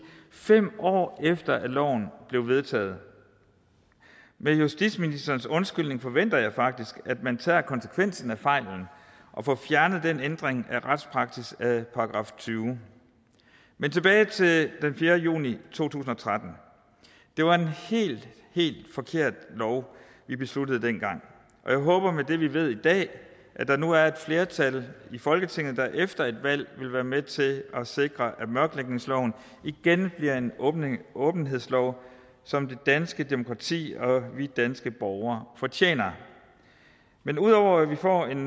fem år efter at loven blev vedtaget med justitsministerens undskyldning forventer jeg faktisk at man tager konsekvensen af fejlen og får fjernet den ændring af retspraksis af § tyvende men tilbage til den fjerde juni to tusind og tretten det var en helt helt forkert lov vi besluttede dengang og jeg håber med det vi ved i dag at der nu er et flertal i folketinget der efter et valg vil være med til at sikre at mørklægningsloven igen bliver en åbenhedslov som det danske demokrati og vi danske borgere fortjener men ud over at vi får en